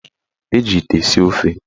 Eji ite esi ofe.